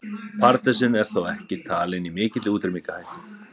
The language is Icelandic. Pardusinn er þó ekki talinn í mikilli útrýmingarhættu.